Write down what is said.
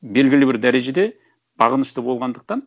белгілі бір дәрежеде бағынышты болғандықтан